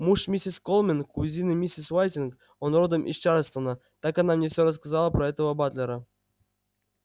муж миссис колмен кузины миссис уайтинг он родом из чарльстона так она мне всё рассказала про этого батлера